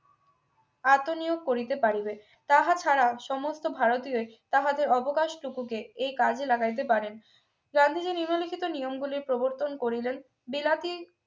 এত নিয়োগ করিতে পারিবে তাহা ছাড়া সমস্ত ভারতীয়দের তাহাদের অবকাশ টুকুকে এই কাজে লাগাতে পারেন গান্ধীজি নিম্নলিখিত নিয়মগুলি প্রবর্তন করি দেন বিলাতি